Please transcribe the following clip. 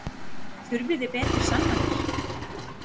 Þurfið þið betri sannanir?